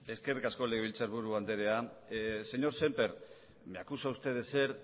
eskerrik asko legebiltzarburu andrea señor sémper me acusa usted de ser